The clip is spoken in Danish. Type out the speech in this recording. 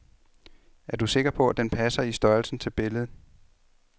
Er du sikker på, at den passer i størrelsen til billedet.